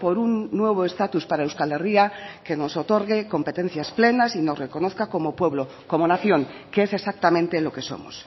por un nuevo estatus para euskal herria que nos otorgue competencias plenas y nos reconozca como pueblo como nación que es exactamente lo que somos